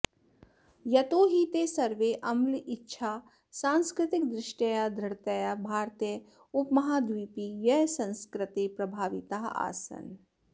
यतो हि ते सर्वे अम्लेच्छाः सांस्कृतिकदृष्ट्या दृढतया भारतीयोपमहाद्वीपीयसंस्कृतेः प्रभाविताः आसन्